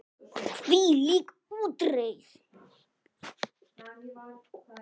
Hvílík útreið!